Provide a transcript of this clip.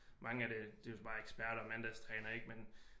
Mange er det det er jo så bare ekseperter og mandagstrænere ik